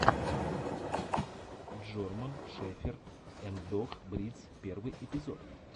джорман шеферд анд дог бридс первый эпизод